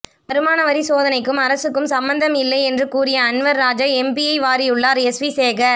வருமானவரி சோதனைக்கும் அரசுக்கும் சம்பந்தம் இல்லை என்று கூறிய அன்வர் ராஜா எம்பியை வாரியுள்ளார் எஸ்வி சேகர்